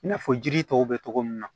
I n'a fɔ jiri tɔw bɛ cogo min na